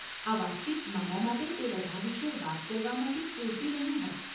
આ વાતચીત મારા માટે તે બધા વિશે વાત કરવા માટે પૂરતી નહીં હોય.